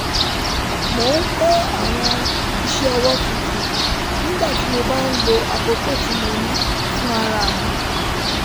mò ń kọ́ àwọn iṣẹ́ ọwọ́ tuntun nígbà tí mo bá ń lo àkókò tí mo ní fún ara mi